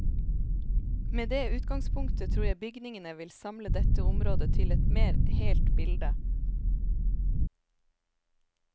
Med det utgangspunktet tror jeg bygningene vil samle dette området til et mer helt bilde.